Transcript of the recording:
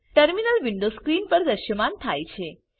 terminal window screen પર દ્રશ્યમાન થાય છે